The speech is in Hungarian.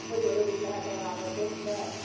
Nagyon rövid lehet a válaszom nem.